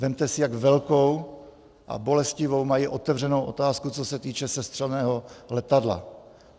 Vezměte si, jak velkou a bolestivou mají otevřenou otázku, co se týče sestřeleného letadla.